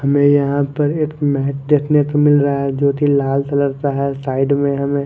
हमें यहां पर एक देखना तो मिल रहा है ज्योकि लाल कलर का है साइड में हमें--